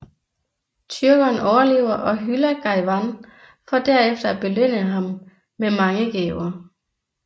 Tyrkeren overlever og hylder Gawain for derefter at belønne ham med mange gaver